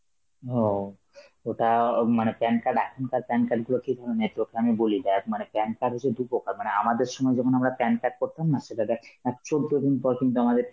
ও, ওটা আ মানে PAN card~ এখনকার PAN card গুলো কি ধরনের তোকে আমি বলি, দেখ মানে PAN card হচ্ছে দু প্রকার, মানে আমাদের সময় যেমন আমরা PAN card করতাম না, সেটা দেখ অ্যাঁ চৌদ্দ দিন পর কিন্তু আমাদের